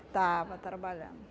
estava trabalhando